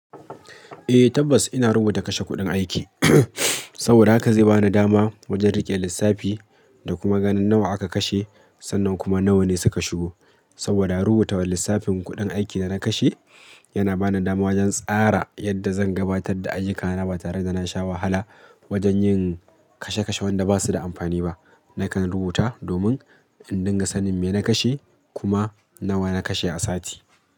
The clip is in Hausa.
Eh tabbas ina rubuta kashe kuɗin aiki saboda haka zai bani dama wajen riƙe lissafi da kuma ganin nawa aka kashe, sannan kuma nawa ne suka shigo. Saboda rubutawan lissafin kuɗin aikin da na kashe yana bani dama wajen tsara yadda zan gabatar da ayyukana ba tare da na sha wahala wajen yin kashe kashe wanda ba su da amfani ba. Nakan rubuta domin in dinga sanin me na kashe kuma nawa na kashe a sati.